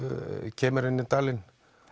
kemur inn í dalinn